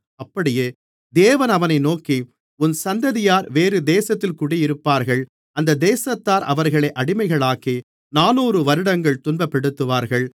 அப்படியே தேவன் அவனை நோக்கி உன் சந்ததியார் வேறு தேசத்தில் குடியிருப்பார்கள் அந்த தேசத்தார் அவர்களை அடிமைகளாக்கி நானூறு வருடங்கள் துன்பப்படுத்துவார்கள்